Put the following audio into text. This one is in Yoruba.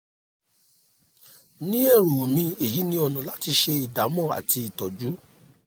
ní èrò mi èyí ni ọ̀nà láti ṣe ìdámọ̀ àti ìtọ́jú